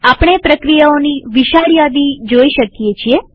આપણે પ્રક્રિયાઓની વિશાળ યાદી જોઈ શકીએ છીએ